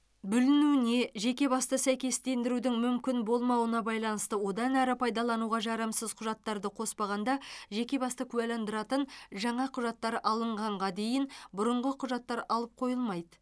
бүлінуіне жеке басты сәйкестендірудің мүмкін болмауына байланысты одан әрі пайдалануға жарамсыз құжаттарды қоспағанда жеке басты куәландыратын жаңа құжаттар алынғанға дейін бұрынғы құжаттар алып қойылмайды